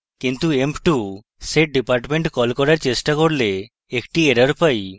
কিন্তু emp2 setdepartment কল করার চেষ্টা করলে একটি error পাই